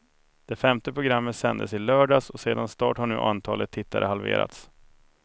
Det femte programmet sändes i lördags och sedan start har nu antalet tittare halverats.